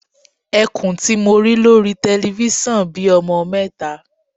Ẹkùn tí mo rí lórí telifísàn bí ọmọ mẹta.